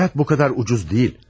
Həyat bu qədər ucuz deyil.